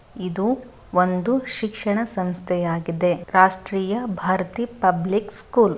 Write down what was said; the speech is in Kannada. ಇದು ಒಂದು ಶಿಕ್ಷಣ ಸಂಸ್ಥೆ ಆಗಿದೆ ರಾಷ್ಟ್ರೀಯ ಭಾರತಿ ಪಬ್ಲಿಕ್ ಸ್ಕೂಲ್ .